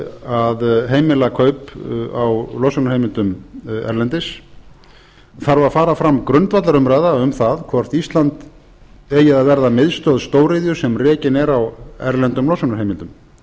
að heimila kaup á losunarheimildum erlendis þarf að fara fram grundvallarumræða um hvort ísland eigi að verða miðstöð stóriðju sem rekin er á erlendum losunarheimildum